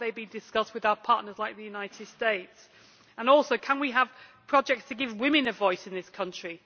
Have they been discussed with our partners, like the United States, and also can we have projects to give women a voice in this country?